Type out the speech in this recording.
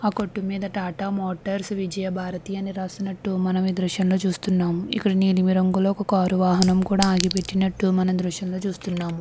ఆ కొట్టు మీద టాటా మోటార్స్ విజయభారతి అని రాసినట్టు మనం ఈ దృశ్యం లో చూస్తున్నాము. ఇక్కడ నీలి రంగు కార్ వాహనం ఆగిపెట్టి నట్టు మనం ఈ దృశ్యం లో చూస్తున్నాము.